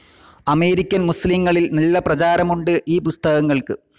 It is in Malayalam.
അമേരിക്കൻ മുസ്ലിംകളിൽ നല്ലപ്രചാരമുണ്ട് ഈ പുസ്തകങ്ങൾക്ക്.